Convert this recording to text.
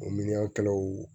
O miiriyɔnkɛlaw